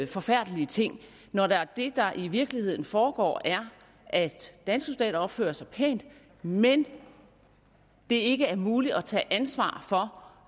forfærdelige ting når det der i virkeligheden foregår er at danske soldater opfører sig pænt men at det ikke er muligt at tage ansvar for